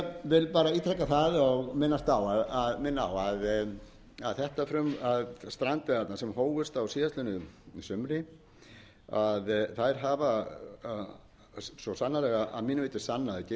standa sem best að málum ég vil bara ítreka það og minna á að strandveiðarnar sem hófust á síðastliðnu sumri þær hafa svo sannarlega að mínu viti sannað gildi sitt